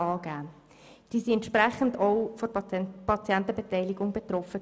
Diese Personen waren dementsprechend von der Patientenbeteiligung betroffen.